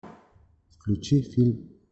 включи фильм